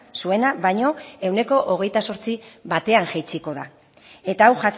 zuena baino ehuneko hogeita zortzi batean jaitsiko da eta hau